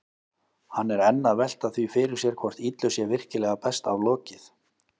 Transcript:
Hann er enn að velta því fyrir sér hvort illu sé virkilega best aflokið.